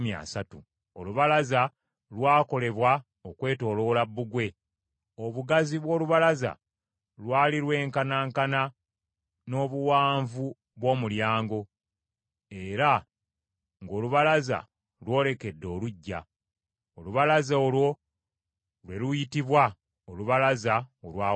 Olubalaza lwakolebwa okwetooloola bbugwe. Obugazi bw’olubalaza lwali lwenkanankana n’obuwanvu bw’omulyango, era ng’olubalaza lwolekedde oluggya. Olubalaza olwo lwe luyitibwa olubalaza olwa wansi.